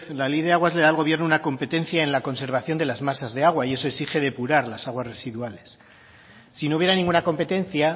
la ley de aguas le da al gobierno una competencia en la conservación de las masas de aguas y eso exige depurar las aguas residuales si no hubiera ninguna competencia